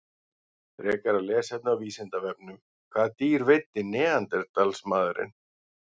Frekara lesefni á Vísindavefnum: Hvaða dýr veiddi neanderdalsmaðurinn?